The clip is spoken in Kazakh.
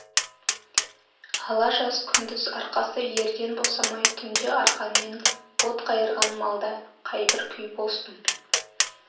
ала жаз күндіз арқасы ерден босамай түнде арқанмен от қайырған малда қайбір күй болсын